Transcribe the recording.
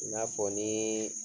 I n'a fɔ ni.